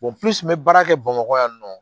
purusi n be baara kɛ bamakɔ yan nɔ